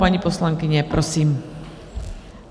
Paní poslankyně, prosím.